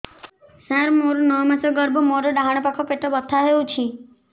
ସାର ମୋର ନଅ ମାସ ଗର୍ଭ ମୋର ଡାହାଣ ପାଖ ପେଟ ବଥା ହେଉଛି